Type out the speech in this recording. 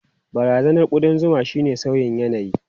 Barazanar kudan zuma shine sauyin yanayi.